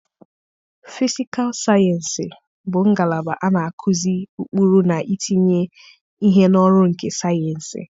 fịsịkal sayensị bụ ngalaba a na-akụzi ụkpụrụ na itinye ihe n'ọrụ nke sayensị.